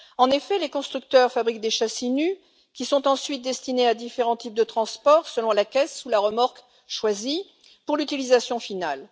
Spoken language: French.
En effet, les constructeurs fabriquent des châssis nus qui sont ensuite destinés à différents types de transport selon la caisse sous la remorque choisie pour l'utilisation finale.